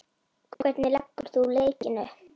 Hvernig leggur þú leikinn upp?